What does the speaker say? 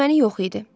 Düşməni yox idi.